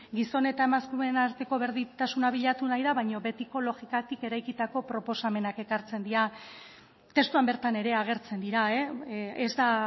gizon eta emakumeen arteko berdintasuna bilatu nahi da baina betiko logikatik eraikitako proposamenak ekartzen dira testuan bertan ere agertzen dira ez da